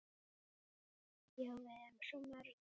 Já, við erum svo mörg.